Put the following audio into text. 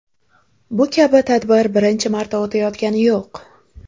Bu kabi tadbir birinchi marta o‘tayotgani yo‘q.